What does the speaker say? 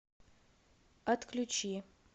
отключи